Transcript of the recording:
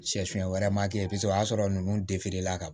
Sɛfan wɛrɛ ma kɛ kosɛbɛ o y'a sɔrɔ nunnu la ka